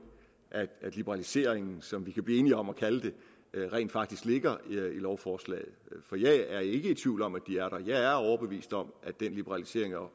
liberaliseringen som vi kan blive enige om at kalde det rent faktisk ligger i lovforslaget for jeg er ikke i tvivl om at den er der jeg er overbevist om at den liberalisering og